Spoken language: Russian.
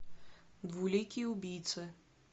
двуликий убийца